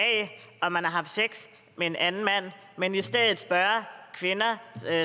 om man har haft sex med en anden mand i stedet for at kvinder